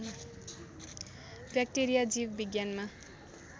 ब्याक्टेरियाजीव विज्ञानमा